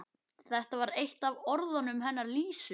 Þetta var eitt af orðunum hennar Lísu.